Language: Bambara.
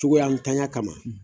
Cogoyantanya kama